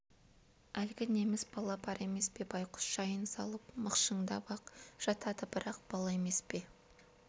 әлгі неміс бала бар емес пе байқұс жайын салып мықшыңдап-ақ жатады бірақ бала емес пе